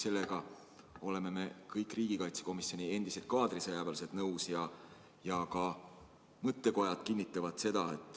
Sellega oleme meie, endised kaadrisõjaväelased, riigikaitsekomisjonis kõik nõus ja ka mõttekojad kinnitavad seda.